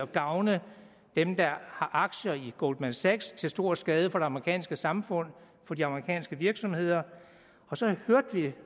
gavne dem der har aktier i goldman sachs til stor skade for det amerikanske samfund for de amerikanske virksomheder